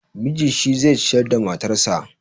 Miji shi zai ciyar da matarsa.